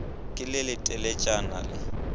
ke le le teletšana le